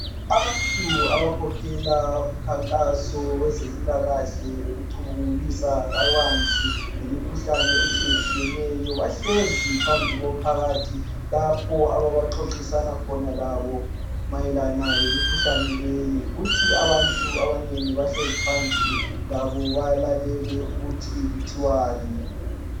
Abantu abakhokhela umkhankaso wezempilakahle lokucubungulisa kabanzi ngemikhuhlane etshiyetshiyeneyo bahlezi phambi komphakathi lapho abaxoxisana khona labo mayelana lemikhuhlane leyi kuthi labo abantu abanengi abahlezi phansi labo balalele ukuthi kuthiwani.